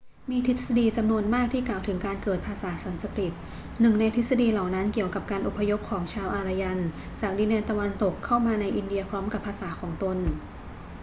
มีทฤษฎีจำนวนมากที่กล่าวถึงการเกิดภาษาสันสกฤต หนึ่งในทฤษฎีเหล่านั้นเกี่ยวกับการอพยพของชาวอารยันจากดินแดนตะวันตกเข้ามาในอินเดียพร้อมกับภาษาของตน